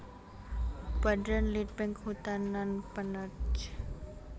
Badan Litbang Kehutanan penerj